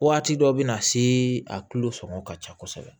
Waati dɔ bɛ na se a tulo sɔngɔ ka ca kosɛbɛ